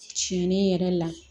Tiɲɛli yɛrɛ la